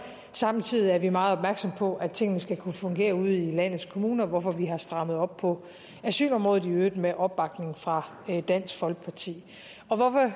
samtidig er vi meget opmærksomme på at tingene skal kunne fungere ude i landets kommuner hvorfor vi har strammet op på asylområdet i øvrigt med opbakning fra dansk folkeparti hvorfor